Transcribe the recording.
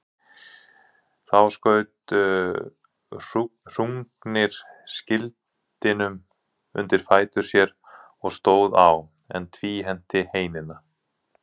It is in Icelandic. Þá skaut Hrungnir skildinum undir fætur sér og stóð á, en tvíhenti heinina.